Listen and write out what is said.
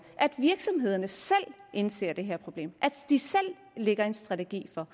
at virksomhederne selv indser det her problem at de selv lægger en strategi for